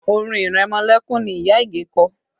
Orin ìrẹmọlẹ́kún ni ìyá Ige kọ